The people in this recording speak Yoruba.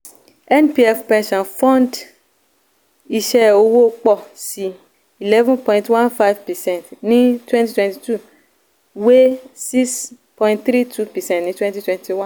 npf pension fund ii: iṣẹ́ owó pọ̀ sí eleven point one five percent ní twenty twenty two wé six point three two percent ní twenty twenty one.